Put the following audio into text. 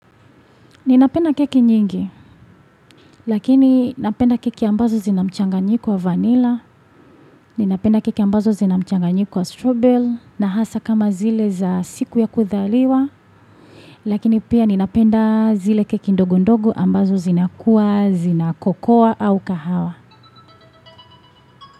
Ninapenda keki nyingi, lakini napenda keki ambazo zinamchanganyiko wa vanilla, ninapenda keki ambazo zinamchanga nyiko wa strobel, nahasa kama zile za siku ya kuthaliwa, lakini pia ninapenda zile keki ndogo ndogo ambazo zinakuwa, zinakokoa au kahawa.